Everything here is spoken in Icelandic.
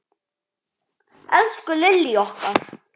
Elsku Lillý okkar.